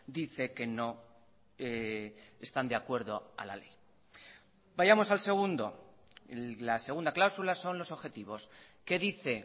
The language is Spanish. dice que no están de acuerdo a la ley vayamos al segundo la segunda cláusula son los objetivos qué dice